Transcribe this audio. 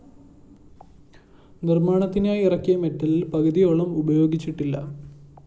നിര്‍മ്മാണത്തിനായി ഇറക്കിയ മിറ്റലില്‍ പകുതിയോളം ഉപയോഗിച്ചിട്ടില്ല